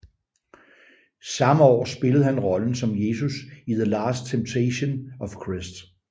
Samme år spillede han rollen som Jesus i The Last Temptation of Christ